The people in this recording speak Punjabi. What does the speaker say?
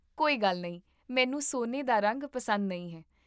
ਕੋਈ ਗੱਲ ਨਹੀਂ, ਮੈਨੂੰ ਸੋਨੇ ਦਾ ਰੰਗ ਪਸੰਦ ਨਹੀਂ ਹੈ